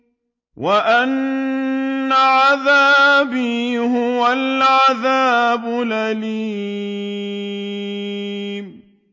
وَأَنَّ عَذَابِي هُوَ الْعَذَابُ الْأَلِيمُ